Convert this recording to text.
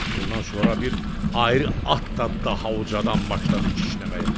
Bundan sonra bir ayrı at da daha ucadan başladı kişnəməyə.